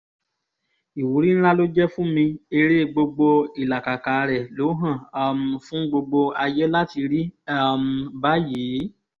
ìwúrí ńlá ló jẹ́ fún mi ère gbogbo ìlàkàkà rẹ̀ ló hàn um fún gbogbo ayé láti rí um báyìí